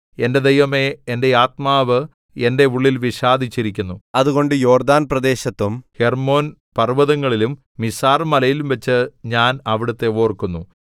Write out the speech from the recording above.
എന്റെ ദൈവമേ എന്റെ ആത്മാവ് എന്റെ ഉള്ളിൽ വിഷാദിച്ചിരിക്കുന്നു അതുകൊണ്ട് യോർദ്ദാൻ പ്രദേശത്തും ഹെർമ്മോൻപർവ്വതങ്ങളിലും മിസാർമലയിലുംവച്ച് ഞാൻ അവിടുത്തെ ഓർക്കുന്നു